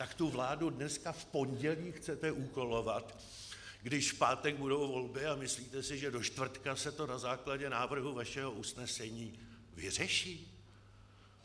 Tak tu vládu dneska, v pondělí, chcete úkolovat, když v pátek budou volby, a myslíte si, že do čtvrtka se to na základě návrhu vašeho usnesení vyřeší?